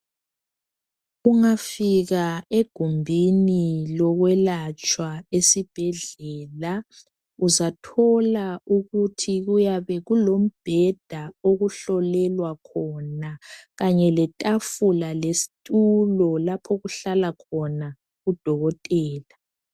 Ungafika egumbini lokwelatshwa esibhedlela uzathola ukuthi kuyabe kulombheda okuhlolelwa khona Kanye letafula lesitulo lapho okuhlala khona udokotela.